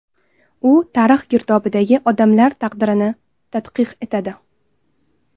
U tarix girdobidagi odamlar taqdirini tadqiq etadi.